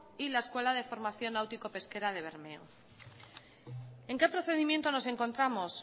y la escuela de formación náutico pesquera de bermeo en qué procedimiento nos encontramos